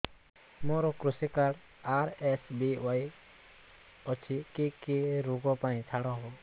ମୋର କୃଷି card RSBY ଅଛି କି କି ଋଗ ପାଇଁ ଛାଡ଼ ହବ